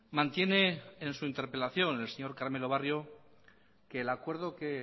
mantiene en su interpelación el señor carmelo barrio que el acuerdo que